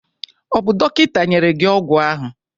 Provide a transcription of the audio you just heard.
ọ bụ dọkịta nyere gị ọgwụ ahụ?